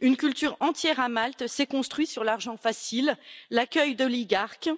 Une culture entière, à Malte, s'est construite sur l'argent facile, l'accueil d'oligarques,